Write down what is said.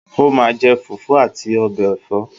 Ó máa je Fùfú àti ọbẹ̀ ẹ̀fọ́